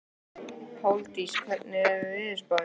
Páldís, hvernig er veðurspáin?